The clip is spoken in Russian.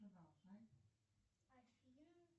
продолжай афин